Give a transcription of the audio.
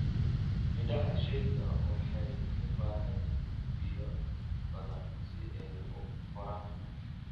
Midhaha shayga waxay u baahan yihiin biyo badan si ay u koraan.